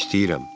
İstəyirəm.